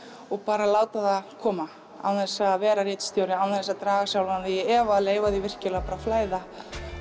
og bara láta það koma án þess að vera ritstjóri án þess að draga sjálfan þig í efa leyfa því virkilega bara að flæða